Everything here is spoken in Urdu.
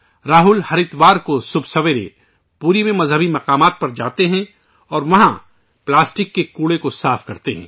راہل ہر اتوار کو صبح سویرے پوری میں مقدس مقامات پر جاتے ہیں اور وہاں پلاسٹک کے کچرے کو صاف کرتے ہیں